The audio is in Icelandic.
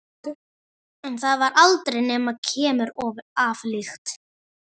En það varð aldrei nema keimur af lykt.